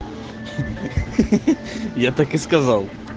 хи хи я так и сказал